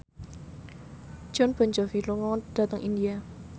Jon Bon Jovi lunga dhateng India